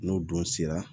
N'o dun sera